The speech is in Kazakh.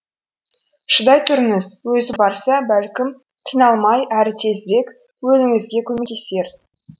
шыдай тұрыңыз өзі барса бәлкім қиналмай әрі тезірек өлуіңізге көмектесер